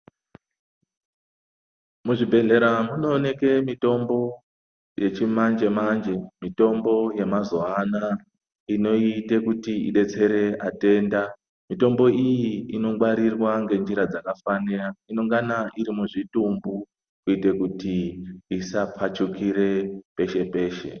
Muzvibhedhlera munooneke mitombo yechimanje manje mitombo yemazuwaana inoite kuti idetsere atenda, mitombo iyi inongwarirwa ngenjira dzakafanira unongana irimuzvitumbu kuite kuti isapfachukire peshe peshe.